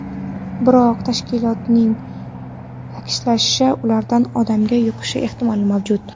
Biroq, tashkilotning ta’kidlashicha, ulardan odamga yuqishi ehtimoli mavjud.